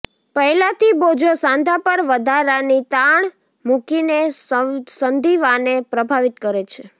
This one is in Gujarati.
પહેલાથી બોજો સાંધા પર વધારાની તાણ મૂકીને સંધિવાને પ્રભાવિત કરે છે